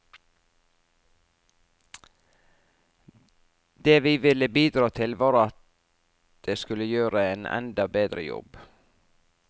Det vi ville bidra til, var at det skulle gjøre en enda bedre jobb.